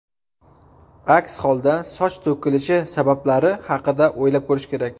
Aks holda, soch to‘kilishi sabablari haqida o‘ylab ko‘rish kerak.